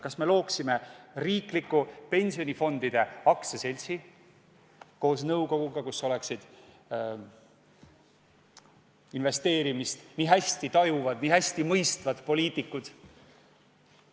Kas me looksime riikliku pensionifondide aktsiaseltsi koos nõukoguga, kus oleksid investeerimist nii hästi tajuvad, nii hästi mõistvad poliitikud?